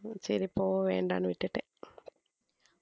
சரி போக வேண்டான்னு விட்டுட்டேன்